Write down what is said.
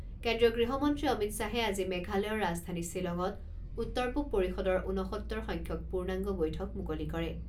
কেন্দ্ৰীয় গৃহমন্ত্ৰী অমিত শ্বাহে আজি মেঘালয়ৰ ৰাজধানী শ্বিলঙত উত্তৰ পূৱ পৰিষদৰ ঊনসত্তৰ সংখ্যক পূৰ্ণাংগ বৈঠক মুকলি কৰে।